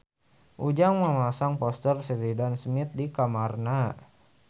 Ujang masang poster Sheridan Smith di kamarna